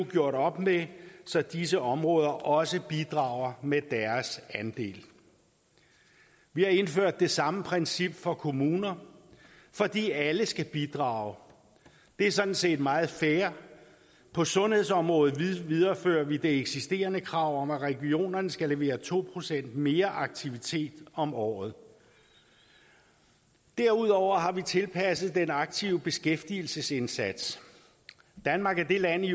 gjort op med så disse områder også bidrager med deres andel vi har indført det samme princip for kommuner fordi alle skal bidrage det er sådan set meget fair på sundhedsområdet viderefører vi det eksisterende krav om at regionerne skal levere to procent mere aktivitet om året derudover har vi tilpasset den aktive beskæftigelsesindsats danmark er det land i